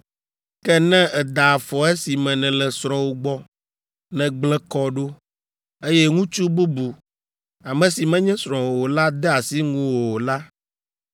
Ke ne èda afɔ esime nèle srɔ̃wò gbɔ, nègblẽ kɔ ɖo, eye ŋutsu bubu, ame si menye srɔ̃wò o la de asi ŋuwò la,”